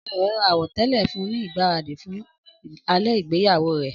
Ọ̀rẹ́ rẹ̀ ra àwọ̀tẹ́lẹ̀ fún un ní ìgbáradì fún alẹ́ ìgbéyàwó rẹ.